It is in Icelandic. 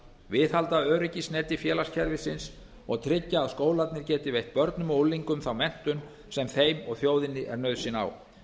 viðhalda öryggisneti félagskerfisins og tryggja að skólarnir geti veitt börnum og unglingum þá menntun sem þeim og þjóðinni er nauðsyn á